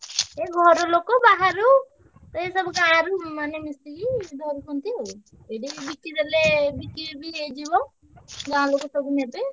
ଏ ଘର ଲୋକ ବାହାରୁ ଏଇ ସବୁ ଗାଁରେ ମାନେ ମିଶିକି ଧରୁଛନ୍ତି ଆଉ ସେଇଠିକି ବିକି ଦେଲେ ବିକ୍ରି ବି ହେଇଯିବ। ଗାଁ ଲୋକ ପଇସା ନେବେ।